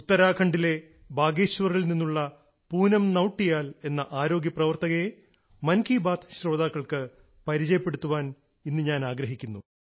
ഉത്തരാഖണ്ഡിലെ ബാഗേശ്വറിൽ നിന്നുള്ള പൂനം നൌട്ടിയാൽ എന്ന ആരോഗ്യ പ്രവർത്തകയെ മൻ കി ബാത്ത് ശ്രോതാക്കൾക്ക് പരിചയപ്പെടുത്താൻ ഇന്ന് ഞാൻ ആഗ്രഹിക്കുന്നു